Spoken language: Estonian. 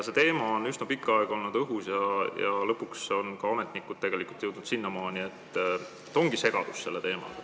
See teema on üsna pikka aega olnud õhus ja lõpuks on ka ametnikud jõudnud järeldusele, et selle teemaga ongi segadus.